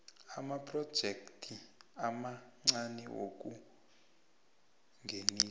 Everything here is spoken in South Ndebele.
amaprojekthi amancani wokungenisa